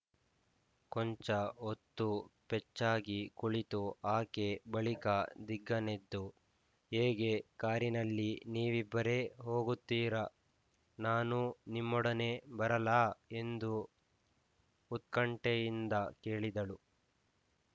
ಕೊಂಚ ಹೊತ್ತು ಪೆಚ್ಚಾಗಿ ಕುಳಿತು ಆಕೆ ಬಳಿಕ ದಿಗ್ಗನೆದ್ದು ಹೇಗೆ ಕಾರಿನಲ್ಲಿ ನೀವಿಬ್ಬರೇ ಹೋಗುತ್ತೀರಾ ನಾನೂ ನಿಮ್ಮೊಡನೆ ಬರಲಾ ಎಂದು ಉತ್ಕಂಠೆಯಿಂದ ಕೇಳಿದಳು